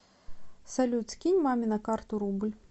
салют скинь маме на карту рубль